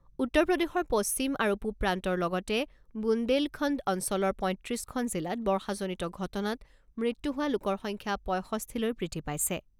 উত্তৰ প্ৰদেশৰ পশ্চিম আৰু পূব প্ৰান্তৰ লগতে বুন্দেলখন্দ অঞ্চলৰ পঁইত্ৰিছখন জিলাত বৰ্ষাজনিত ঘটনাত মৃত্যু হোৱা লোকৰ সংখ্যা ৬৫ লৈ বৃদ্ধি পাইছে।